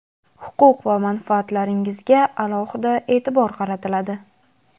huquq va manfaatlaringizga alohida e’tibor qaratiladi.